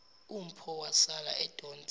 umpho wasala edonse